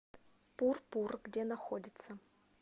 пурпур где находится